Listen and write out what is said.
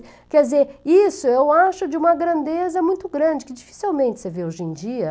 Quer dizer, isso eu acho de uma grandeza muito grande, que dificilmente você vê hoje em dia.